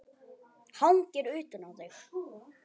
Hangir utan á þér!